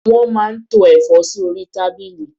Wọ́n máa ń tó ẹ̀fọ́ sí orí tábìlì.